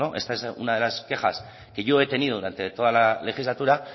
esta es una de las quejas que yo he tenido durante toda la legislatura